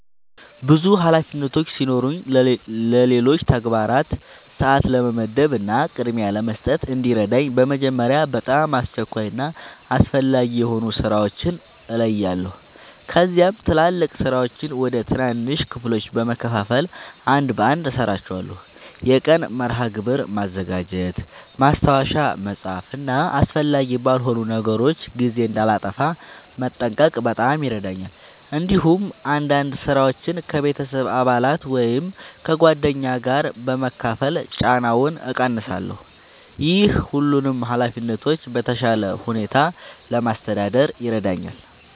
ብዙ ኃላፊነቶች ሲኖሩኝ ለሌሎች ተግባራት ሰአት ለመመደብ እና ቅድሚያ ለመስጠት እንዲረዳኝ በመጀመሪያ በጣም አስቸኳይ እና አስፈላጊ የሆኑ ሥራዎችን እለያለሁ። ከዚያም ትላልቅ ሥራዎችን ወደ ትናንሽ ክፍሎች በመከፋፈል አንድ በአንድ እሠራቸዋለሁ። የቀን መርሃ ግብር ማዘጋጀት፣ ማስታወሻ መጻፍ እና አስፈላጊ ባልሆኑ ነገሮች ጊዜ እንዳላጠፋ መጠንቀቅ በጣም ይረዳኛል። እንዲሁም አንዳንድ ሥራዎችን ከቤተሰብ አባላት ወይም ከጓደኞች ጋር በመካፈል ጫናውን እቀንሳለሁ። ይህ ሁሉንም ኃላፊነቶች በተሻለ ሁኔታ ለማስተዳደር ይረዳኛል።